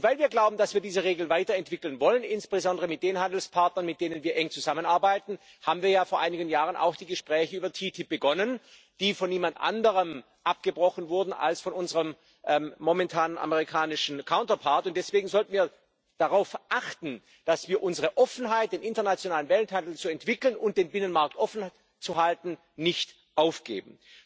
Und weil wir glauben, dass wir diese Regeln weiterentwickeln wollen insbesondere mit den Handelspartnern, mit denen wir eng zusammenarbeiten haben wir ja vor einigen Jahren auch die Gespräche über TTIP begonnen, die von niemand anderem abgebrochen wurden als von unserem momentanen amerikanischen Gegenpart, und deswegen sollten wir darauf achten, dass wir unsere Offenheit, den internationalen Welthandel zu entwickeln und den Binnenmarkt offen zu halten, nicht aufgeben.